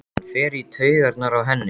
Hann fer í taugarnar á henni.